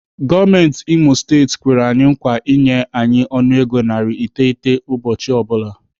Gọọmenti Imo steeti kwere anyi nkwa inye anyị ọnụego narị iteghete ụbọchị ọ bụla.